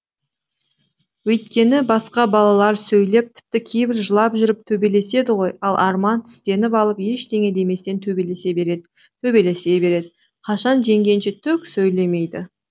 өйткені басқа балалар сөйлеп тіпті кейбір жылап жүріп төбелеседі ғой ал арман тістеніп алып ештеңе деместен төбелесе береді төбелесе береді қашан жеңгенше түк сөйлемейді